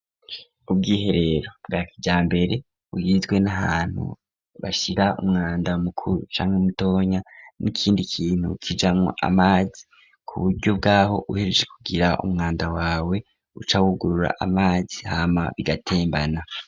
ubwiherero bwakijambere bugizwe n'ahantu bashyira umwanda mukuru canke mutoya n'ikindi kintu kijama amazi ku buryo bwaho uhejeje kugira umwanda wawe uca wugurura amazi hama bigatembana.